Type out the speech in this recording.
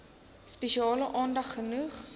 spesiale aandag genoeg